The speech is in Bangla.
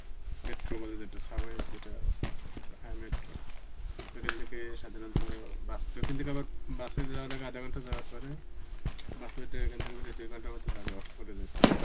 metroবলে যেটা subway যেটা হ্যা metro. এখান থেকে সাধারণত bus~ ওখান থেকে আবার bus এ যাওয়ার আগে আধা ঘন্টা যাওয়ার পরে bus এ উঠে এখান থেকে বেরোয় দুই ঘন্টা মত লাগে অক্সফোর্ডে যেতে.